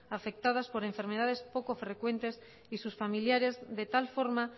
afectadas por enfermedades poco frecuentes y sus familiares de tal forma